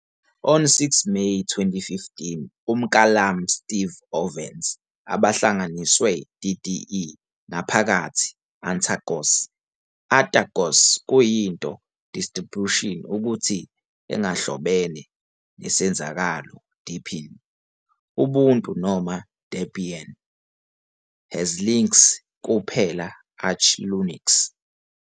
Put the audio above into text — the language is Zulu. On 6 May 2015 uMklami Steve Ovens abahlanganiswe DDE ngaphakathi Antergos. Atergos kuyinto distribution ukuthi engahlobene nesenzakalo deepin, Ubuntu noma Debian, has links kuphela Arch Linux.